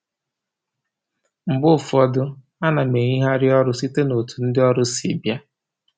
Mgbe ụfọdụ, a na m eyigharị ọrụ site n'otu ndị ọrụ si bịa